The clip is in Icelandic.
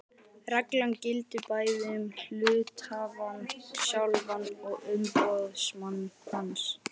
Reglan gildir bæði um hluthafann sjálfan og umboðsmann hans.